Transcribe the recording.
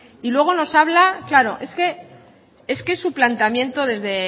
y luego nos habla claro es que es que su planteamiento desde